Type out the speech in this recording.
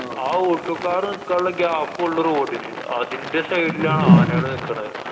ആ alto car നിക്കാനുള്ള gape ഒള്ളൂ road ന്. അതിന്‍റെ side ലാണ് ആനകള് നിക്കണ്.